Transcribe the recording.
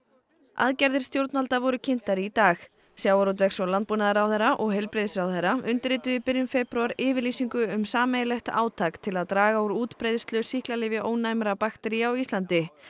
aðgerðir stjórnvalda voru kynntar í dag sjávarútvegs og landbúnaðarráðherra og heilbrigðisráðherra undirrituðu í byrjun febrúar yfirlýsingu um sameiginlegt átak til að draga úr útbreiðslu sýklalyfjaónæmra baktería á Íslandi